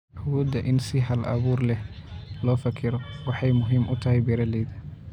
Awoodda in si hal abuur leh loo fekero waxay muhiim u tahay beeralayda.